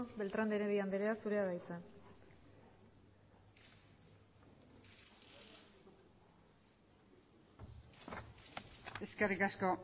beltrán de heredia andrea zurea da hitza eskerrik asko